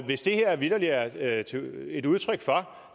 hvis det her vitterlig er et udtryk for